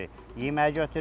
Yeməyi götürürük.